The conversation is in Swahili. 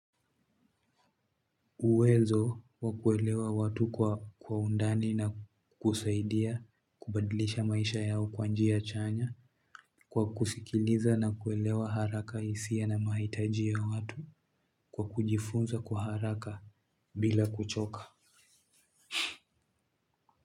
Uwezo wa kuelewa watu kwa undani na kusaidia, kubadilisha maisha yao kwa njia chanya, kwa kusikiliza na kuelewa haraka hisia na mahitaji ya watu kwa kujifunza kwa haraka bila kuchoka.